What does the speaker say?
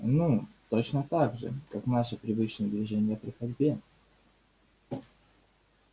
ну точно так же как наши привычные движения при ходьбе